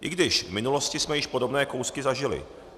I když v minulosti jsme již podobné kousky zažili.